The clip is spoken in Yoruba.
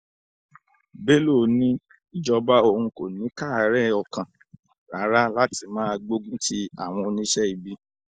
bello ní ìjọba òun kò ní í káàárẹ̀ ọkàn rárá láti máa gbógun ti àwọn oníṣẹ́ ibi